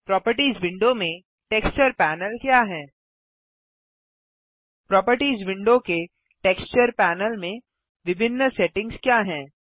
properties window में texture panel क्या है प्रोपर्टीज़ विंडो के टेक्सचर पैनल में विभिन्न सेटिंग्स क्या हैं